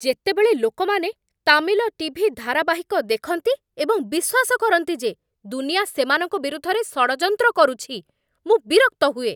ଯେତେବେଳେ ଲୋକମାନେ ତାମିଲ ଟି.ଭି. ଧାରାବାହିକ ଦେଖନ୍ତି ଏବଂ ବିଶ୍ୱାସ କରନ୍ତି ଯେ ଦୁନିଆଁ ସେମାନଙ୍କ ବିରୁଦ୍ଧରେ ଷଡ଼ଯନ୍ତ୍ର କରୁଛି, ମୁଁ ବିରକ୍ତ ହୁଏ।